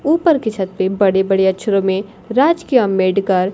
ऊपर के छत पे बड़े बड़े अक्षरों में राजकीय आंबेडकर--